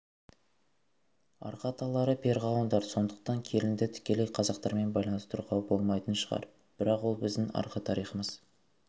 арғы аталары перғауындар сондықтан келінді тікелей қазақтармен байланыстыруға болмайтын шығар бірақ ол біздің арғы тарихымыз